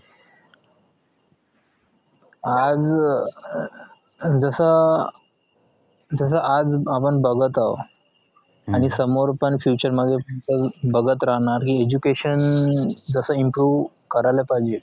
आज अं जस जस आज आपण बघत आहो आणि समोर पण future मध्ये बघत राहणार हे education जस improve करायला पाहिजे